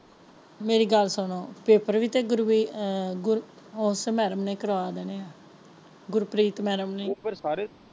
ਮੇਰੀ ਗੱਲ ਸੁਣੋ ਪੇਪਰ ਵੀ ਤੇ ਉਸੇ ਮੈਡਮ ਨੇ ਕਰਵਾ ਦੇਣੇ ਹੈ ਗੁਰਪ੍ਰੀਤ ਮੈਡਮ ਨੇ ਪੇਪਰ ਸਾਰੇ।